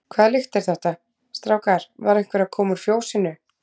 Hvaða lykt er þetta, strákar, var einhver að koma úr fjósinu?